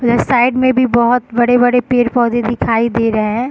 यह साइड में भी बहुत बड़े-बड़े पेड़-पोधे दिखाई दे रहे हैं ।